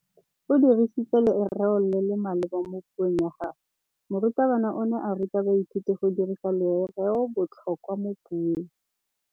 O dirisitse lerêo le le maleba mo puông ya gagwe. Morutabana o ne a ruta baithuti go dirisa lêrêôbotlhôkwa mo puong.